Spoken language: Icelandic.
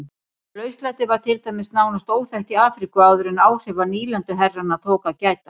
Lauslæti var til dæmis nánast óþekkt í Afríku áður en áhrifa nýlenduherrana tók að gæta.